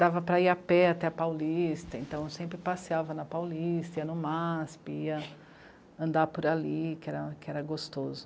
Dava para ir a pé até a Paulista, então sempre passeava na Paulista, ia no Mê á sê pê, ia andar por ali, que era gostoso.